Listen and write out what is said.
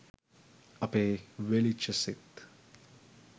අපෙ වෙලිච්ච සිත්